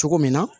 Cogo min na